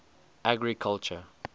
agriculture